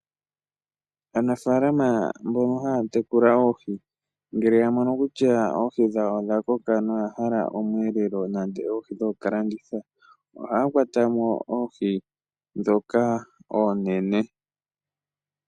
Aanafaalama mbono haya tekula oohi ngele ya mono kutya oohi dhawo odha koka nawa noya hala omweelelo nenge oohi dhokulanditha ohaya kwata mo oohi ndhoka oonene.